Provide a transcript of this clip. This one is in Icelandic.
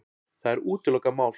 Það er útilokað mál.